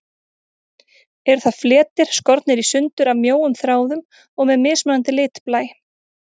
Eru það fletir, skornir í sundur af mjóum þráðum og með mismunandi litblæ.